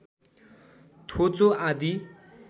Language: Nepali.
थोचो आदि